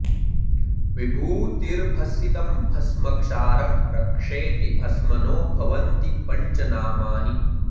विभूतिर्भसितं भस्म क्षारं रक्षेति भस्मनो भवन्ति पञ्च नामानि